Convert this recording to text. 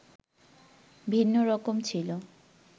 ভিন্ন রকম ছিল